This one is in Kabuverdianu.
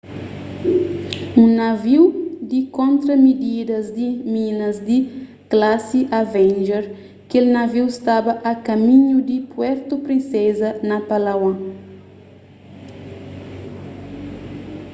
un naviu di kontra-mididas di minas di klasi avenger kel naviu staba a kaminhu di puerto princesa na palawan